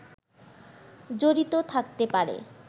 জড়িত থাকতে পারে